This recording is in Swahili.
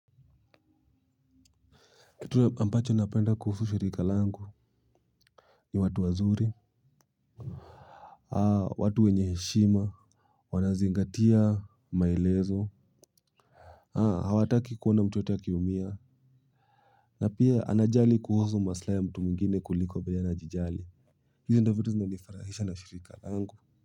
Kitu ambacho napenda kuhusu shirika langu ni watu wazuri, watu wenye heshima. Wanazingatia maelezo, hawataki kuona mtu yeyote akiumia. Na pia anajali kuhusu maslaha ya watu wengine kuliko vile yeye ananijali. Hizi ndizo viti zinanifurahisha na shirika langu.